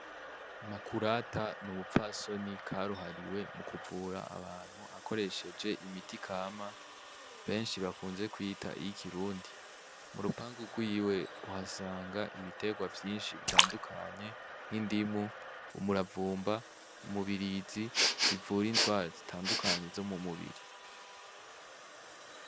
Makurata n'umupfasoni karuhariwe mukuvura abantu akoresheje imiti kama benshi bakunze kwita iy'ikirundi, murupangu rwiwe uhasanga ibiterwa vyinshi bitandukanye, nk'indimu, umuravumba, umubirizi bivura indwara zitandukanye zo mu mubiri.